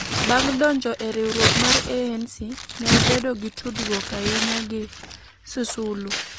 Bang ' donjo e riwruok mar ANC, ne obedo gi tudruok ahinya gi Sisulu,